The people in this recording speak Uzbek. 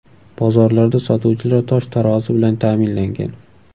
Bozorlarda sotuvchilar tosh-tarozi bilan ta’minlangan.